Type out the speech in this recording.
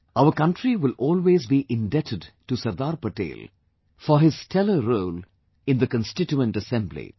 Our country will always be indebted to Sardar Patel for his steller role in the Constituent Assembly